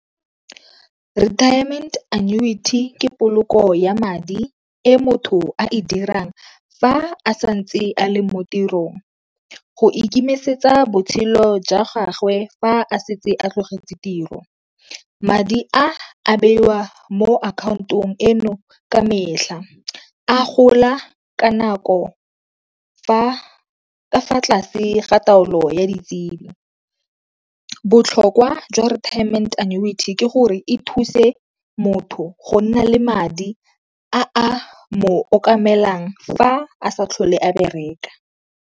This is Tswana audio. Retirement annuity ke poloko ya madi e motho a e dirang fa a santse a le mo tirong. Go ikemisetsa botshelo jwa gagwe fa a setse a tlogetse tiro. Madi a a beiwa mo akhaontong eno ka metlha, a gola ka nako ka fa tlase ga taolo ya ditsebi. Botlhokwa jwa retiement annuity ke gore e thuse motho go nna le madi a a mo okamelang fa a sa tlhole a bereka.